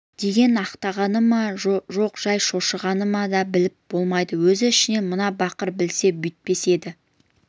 деген ақтағаны ма жоқ жай шошығаны ма біліп болмайды өз ішінен мына бақыр білсе бүйтпес еді